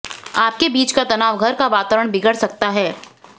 आपके बीच का तनाव घर का वातावरण बिगड़ सकता है